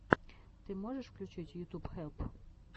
ты можешь включить ютуб хелп